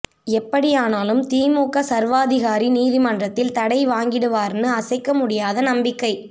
எப்படியானாலும் திமுக சர்வாதிகாரி நீதிமன்றத்தில் தடை வாங்கிடுவார்னு அசைக்க முடியாத நம்பிக்கை